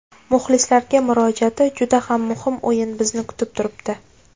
Muxlislarga murojaati Juda ham muhim o‘yin bizni kutib turibdi.